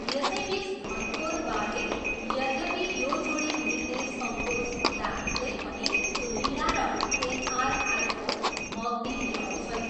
यसैबिच धनकोर बाले यद्यपि यो जोडी मिल्ने सङ्कोच हुँदाहुँदै पनि लीला र एनआरआईको मगनी मिलाउँछन्।